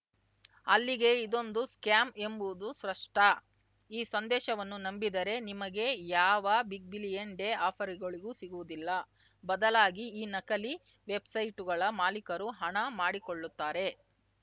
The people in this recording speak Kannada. ಅಲ್ಲಿಗೆ ಇದೊಂದು ಸ್ಕ್ಯಾಮ್‌ ಎಂಬುವುದು ಸ್ಪಷ್ಟ ಈ ಸಂದೇಶವನ್ನು ನಂಬಿದರೆ ನಿಮಗೆ ಯಾವ ಬಿಗ್‌ಬಿಲಿಯನ್‌ ಡೇ ಆಫರ್‌ಗಳೂ ಸಿಗುವುದಿಲ್ಲ ಬದಲಾಗಿ ಈ ನಕಲಿ ವೆಬ್‌ಸೈಟ್‌ಗಳ ಮಾಲೀಕರು ಹಣ ಮಾಡಿಕೊಳ್ಳುತ್ತಾರೆ